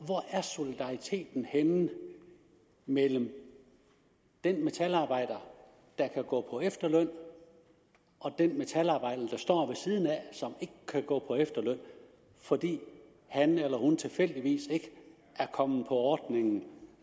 solidariteten er henne mellem den metalarbejder der kan gå på efterløn og den metalarbejder der står ved siden af og som ikke kan gå på efterløn fordi han eller hun tilfældigvis ikke er kommet med i ordningen